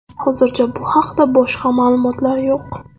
Hozircha bu haqda boshqa ma’lumotlar yo‘q.